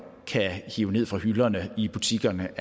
kan hive ned fra hylderne i butikkerne